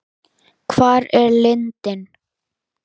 Hvar er lindin?